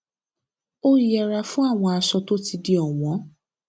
ó yẹra fún àwọn aṣọ tó ti di òwón